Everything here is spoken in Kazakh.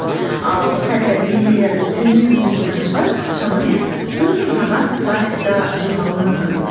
ал сәл пәл деңгейлері төмен музыкантшылар шамамен төрт мың сағат практика жасауы мүмкін